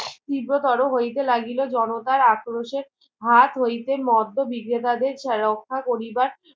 তীব্র তর হইতে লাগিল জনতার আক্রোশে ভাত হইতে মধ্য বিক্রেতা দেড় রক্ষা করিবার